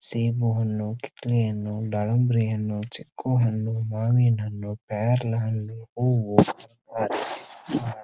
ಸೇಬು ಹಣ್ಣು ಕಿತ್ತಳೆ ಹಣ್ಣು ದಾಳಿಂಬರಿ ಹಣ್ಣು ಚಿಕ್ಕು ಹಣ್ಣು ಮಾವಿನ ಹಣ್ಣು ಪೇರಲ ಹಣ್ಣು ಹೂವು--